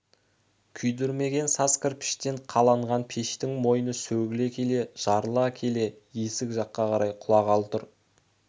күйдірмеген саз кірпіштен қаланған пештің мойны сөгіле келе жарыла келе есік жаққа қарай құлағалы тұр